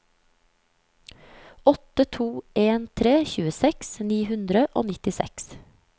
åtte to en tre tjueseks ni hundre og nittiseks